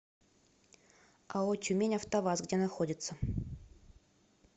ао тюмень автоваз где находится